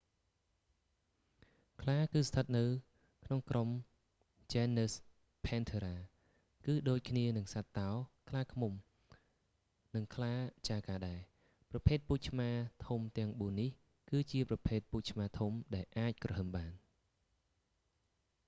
ខ្លាគឺស្ថិតនៅក្នុងក្រុមជែនណឹស ភែនធើរ៉ា genus panthera គឺដូចគ្នានឹងសត្វតោ ខ្លាឃ្មុំ និងខ្លាចាហ្គារដែរ ប្រភេទពូជឆ្មាធំទាំងបួននេះគឺជាប្រភេទពូជឆ្មាធំដែលអាចគ្រហឹមបាន